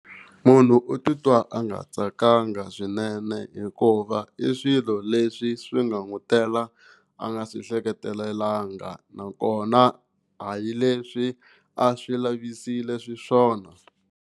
Munhu u titwa a nga tsakanga swinene hikuva i swilo leswi swi nga n'wi tela a nga swi hleketelelanga nakona a hi leswi a swi lavisile xiswona.